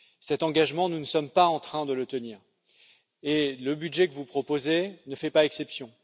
Cet engagement, nous ne sommes pas en train de le tenir et le budget que vous proposez ne fait pas exception.